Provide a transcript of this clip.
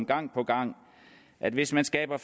gang på gang at hvis man skaber